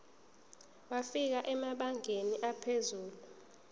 wafika emabangeni aphezulu